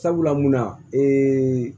Sabula munna